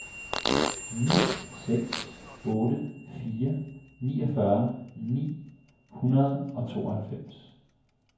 ni seks otte fire niogfyrre ni hundrede og tooghalvfems